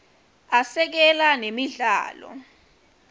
asekela nemidlalo